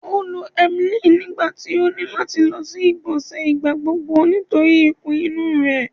O lo emgyl nigbati o ni lati lọ si igbonse nigbagbogbo nitori ikun inu rẹ